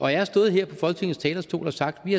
jeg har stået her på folketingets talerstol og sagt at vi